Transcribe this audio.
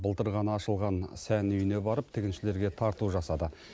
былтыр ғана ашылған сән үйіне барып тігіншілерге тарту жасады